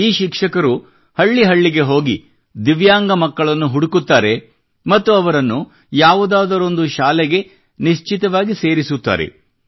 ಈ ಶಿಕ್ಷಕರು ಹಳ್ಳಿ ಹಳ್ಳಿಗೆ ಹೋಗಿ ದಿವ್ಯಾಂಗ ಮಕ್ಕಳನ್ನು ಹುಡುಕುತ್ತಾರೆ ಮತ್ತು ಅವರನ್ನು ಯಾವುದಾದರೊಂದು ಶಾಲೆಗೆ ನಿಶ್ಚಿತವಾಗಿ ಸೇರಿಸುತ್ತಾರೆ